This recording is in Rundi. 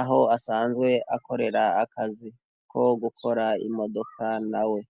aho asanzwe akorera akazi ko gukora imodoka na we.